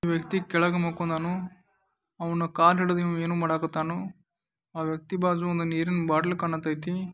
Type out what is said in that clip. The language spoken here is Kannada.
ಒಬ್ಬ ವ್ಯಕ್ತಿ ಯ ಕೇಳಗ ಮಕ್ಕಂಡನು ಅವನು ಕಾಲ್ ಹಿಡಿದ ಇವನ ಏನೋ ಮಾಡಕ್ಕತ್ತನೂ . ಆ ವ್ಯಕ್ತಿ ಬಾಜು ಒಂದು ನೀರಿನ ಬಾಟಲ್ ಕಾಣಕತೈತಿ.